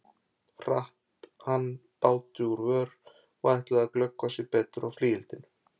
Hratt hann báti úr vör og ætlaði að glöggva sig betur á flygildinu.